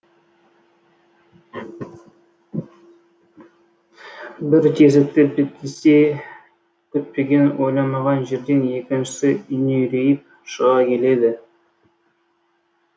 бір тесікті бітесе күтпеген ойламаған жерден екіншісі үңірейіп шыға келеді